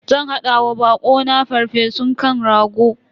Zan hada wa bako na farfesun kan rago.